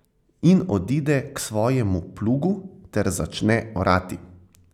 In odide k svojemu plugu ter začne orati.